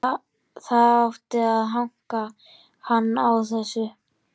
Það átti að hanka hann á þessu.